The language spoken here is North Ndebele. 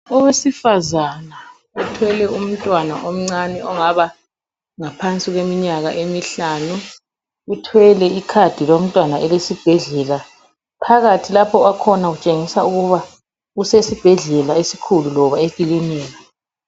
Owesifazana uthwele umntwana omcane ongaba ngaphansi kweminyaka emihlanu. Uthwele icard lomtwana elesibhedlela. Phakathi lapho akhona utshengisa ukuthi usesibhedlela esikhulu loba ekilinika.